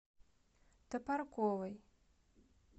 топорковой